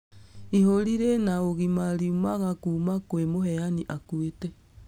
Ihũri rĩna ũgima riumaga kuma kwa mũheani akũĩte.